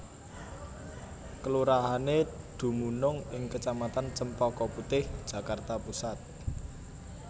Kelurahané dumunung ing kecamatan Cempaka Putih Jakarta Pusat